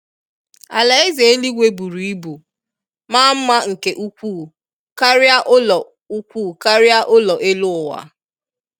Alaeze eluigwe buru ibu maa nma nke ukwu karia ulọ ukwu karia ulọ elu uwaa